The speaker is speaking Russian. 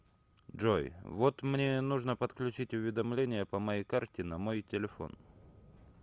джой вот мне нужно подключить уведомления по моей карте на мой телефон